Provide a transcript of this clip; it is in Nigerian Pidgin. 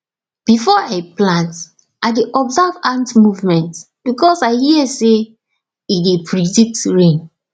before i plant i dey observe ant movement because i hear say e dey predict rain